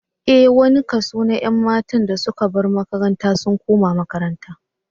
Ee, wani kaso na ƴan matan da suka bar makaranta sun koma makaranta